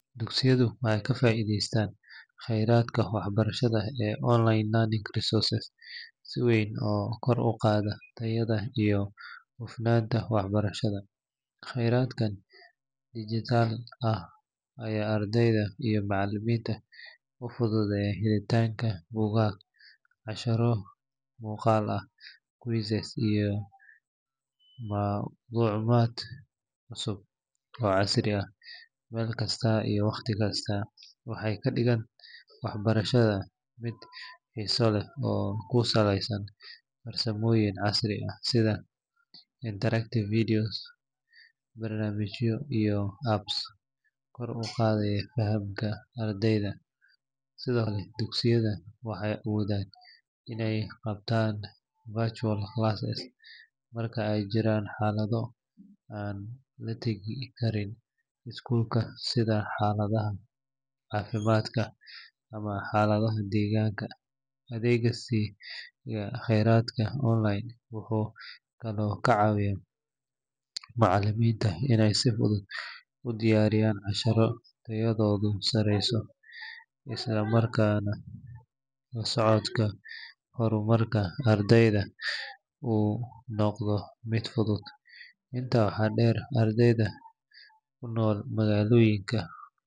Dugsiyadu waxay ka faa’iidaystaan kheyraadka waxbarashada ee online learning resources si weyn oo kor u qaada tayada iyo hufnaanta waxbarashada. Kheyraadkan digital ah ayaa ardayda iyo macallimiinta u fududeeya helitaanka buugaag, casharro muuqaal ah, quizzes iyo macluumaad cusub oo casri ah meel kasta iyo wakhti kasta. Waxay ka dhigaan waxbarashada mid xiiso leh oo ku saleysan farsamooyin casri ah sida interactive videos, barnaamijyo iyo apps kor u qaada fahamka ardayda. Sidoo kale, dugsiyada waxay awoodaan inay qabtaan virtual classes marka ay jiraan xaalado aan la tegi karin iskuulka sida xaaladaha caafimaad ama xaaladaha deegaanka. Adeegsiga kheyraadka online wuxuu kaloo ka caawiyaa macallimiinta inay si fudud u diyaariyaan casharro tayadoodu sareyso, isla markaana la socodka horumarka ardayda uu noqdo mid fudud. Intaa waxaa dheer, ardayda ku nool magaalooyinka.